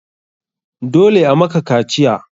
Dole a maka kaciya!